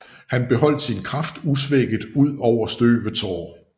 Han beholdt sin kraft usvækket ud over støvets år